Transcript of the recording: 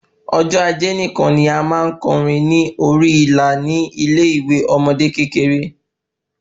Ọjọ ajé nikan ni a máa n kọ orin ní orí ìlà ni ile ìwé ọmọde kékeré